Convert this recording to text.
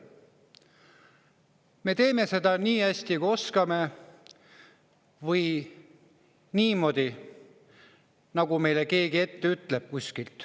Me teeme seda nii hästi, kui oskame, või niimoodi, nagu meile keegi kuskilt ette ütleb.